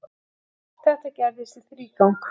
Þetta gerðist í þrígang.